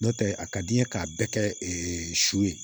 N'o tɛ a ka di n ye k'a bɛɛ kɛ su ye